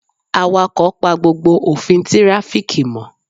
Awakọ̀ pa gbogbo òfin tirafiki mo